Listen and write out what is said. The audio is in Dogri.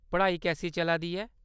पढ़ाई कैसी चला दी ऐ ?